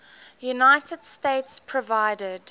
united states provided